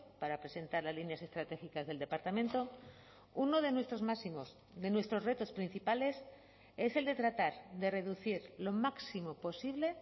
para presentar las líneas estratégicas del departamento uno de nuestros máximos de nuestros retos principales es el de tratar de reducir lo máximo posible